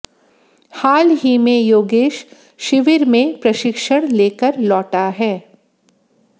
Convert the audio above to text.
हाल ही में योगेश शिविर में प्रशिक्षण लेकर लौटा है